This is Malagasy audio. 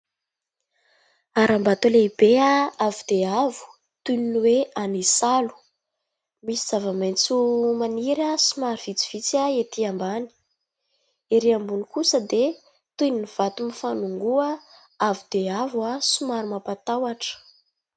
Haram-bato lehibe avo dia avo toy ny hoe any Isalo. Misy zava-maitso maniry somary vitsivitsy ety ambany. ery ambony kosa dia toy ny vato mifanongoa avo dia avo somary mampatahotra.